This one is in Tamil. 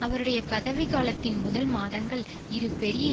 அவருடைய பதவிக்காலத்தின் முதல் மாதங்கள் இரு பெரிய